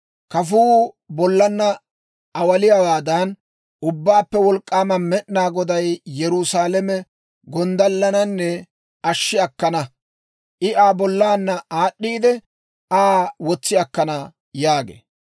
Kafuu bollaanna awaaliyaawaadan, Ubbaappe Wolk'k'aama Med'inaa Goday Yerusaalame gonddallananne ashshi akkana; I Aa bollaanna aad'd'iidde, Aa wotsi akkana» yaagee.